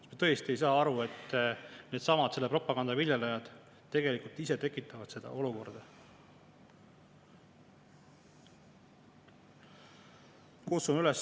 Kas me tõesti ei saa aru, et needsamad selle propaganda viljelejad tegelikult ise tekitavad sellist olukorda?